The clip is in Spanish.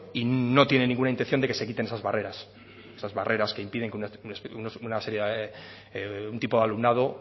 y no tiene ninguna intención de que se quiten esas barreras esas barreras que impiden que una serie un tipo de alumnado